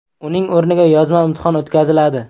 Uning o‘rniga yozma imtihon o‘tkaziladi.